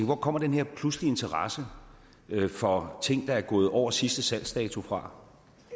hvor kommer den her pludselige interesse for ting der er gået over sidste salgsdato fra